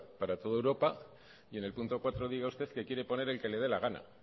para toda europa y en el punto cuatro diga usted que quiere poner el que le dé la gana